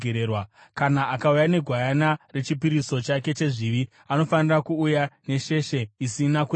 “ ‘Kana akauya negwayana rechipiriso chake chezvivi, anofanira kuuya nesheshe isina kuremara.